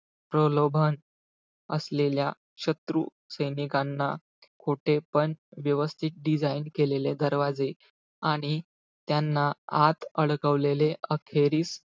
प्रलोभन असलेल्या शत्रू सैनिकांना, खोटे, पण व्यवस्थित design केलेले दरवाजे. आणि त्यांना आत अडकवलेले. अखेरीस,